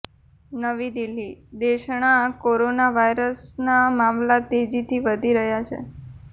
નવી દિલ્હીઃ દેશણા કોરોના વાયરસના મામલા તેજીથી વધી રહ્યા છે